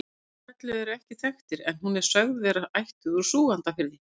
Foreldrar Höllu eru ekki þekktir en hún er sögð vera ættuð úr Súgandafirði.